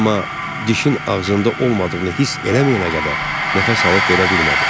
Amma dişin ağzında olmadığını hiss eləməyənə qədər nəfəs alıb verə bilmədi.